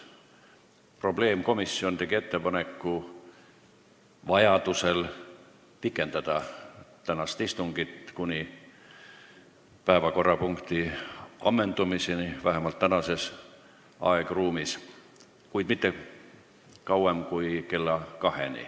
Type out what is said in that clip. Probleemkomisjon tegi ettepaneku vajadusel pikendada tänast istungit kuni päevakorrapunkti ammendumiseni, vähemalt tänases aegruumis, kuid mitte kauem kui kella kaheni.